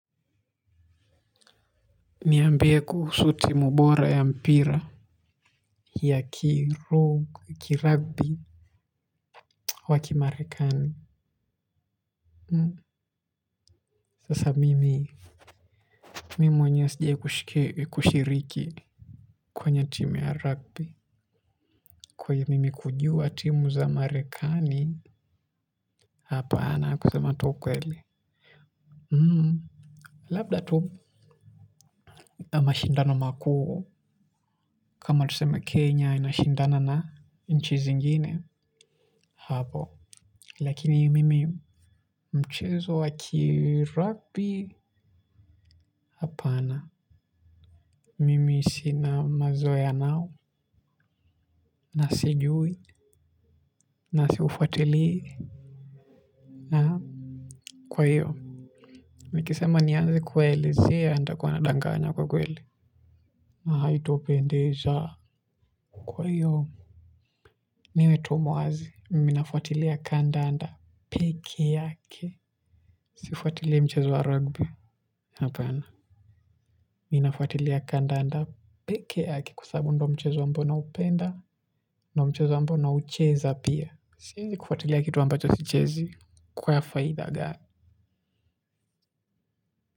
Niambie kuhusu timu bora ya mpira ya ki rugby waki marekani sasa mimi mimi mwenyewe sijawahi kushiriki kwenye team ya rugby kwahiyo mimi kujua team za marekani hapa ana kusema tu ukweli mhm labda tu mashindano makuu kama tuseme kenya inashindana na nchi zingine hapo lakini mimi mchezo wa ki rugby hapana mimi sina mazoe nao. Na sijui. Na siufuatili. Kwa hiyo nikisema nianze kuwaelezea nitakua nadanganya kwa kweli na haitopendeza kwa hiyo niwe tu muwazi mimi nafuatilia kandanda peke yake. Sifuatilii mchezo wa rugby. Hapana. Mi nafuatilia kandanda peke yake. Kwa sababu ndio mchezo ambao naupenda ndio mchezo ambao naucheza pia siwezi kufuatilia kitu ambacho sichezi kwa faida gani.